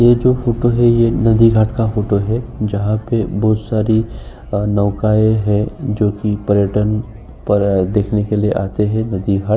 यह जो फोटो है ये नदी घाट का फोटो है जहां पे बहुत सारी नौकाएं है जोकि पर्यटन पर देखने के लिए आते हैं।